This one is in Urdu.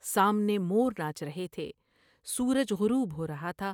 سامنے مور ناچ رہے تھے۔ سورج غروب ہور ہا تھا ۔